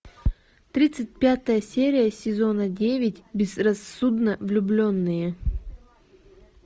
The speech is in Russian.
тридцать пятая серия сезона девять безрассудно влюбленные